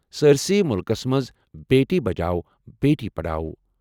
سٲرِسٕے مُلکَس منٛز بیٹی بچاؤ بیٹی پڑھاؤ"۔